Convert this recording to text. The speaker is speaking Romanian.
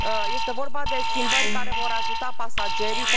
Este vorba de schimbări care vor ajuta pasagerii.